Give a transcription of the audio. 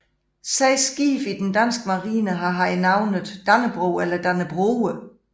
Seks skibe i den danske Marine har haft navnet Dannebrog eller Dannebroge